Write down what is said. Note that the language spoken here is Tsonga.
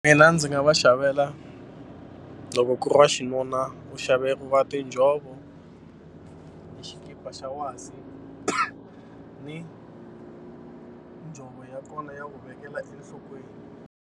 Nina ndzi nga va xavela loko ku ri wa xinuna u xaveriwa tinjhovo na xikipa xa wasi ni njhovo ya kona ya ku vekela enhlokweni.